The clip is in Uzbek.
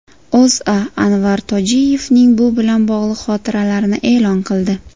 O‘zA Anvar Tojiyevning bu bilan bog‘liq xotiralarini e’lon qildi .